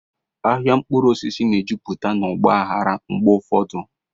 Ahịa mkpụrụ osisi na-ejupụta na ọgba aghara mgbe ụfọdụ.